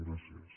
gràcies